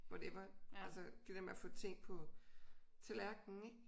Whatever altså det dér med at få ting på tallerkenen ik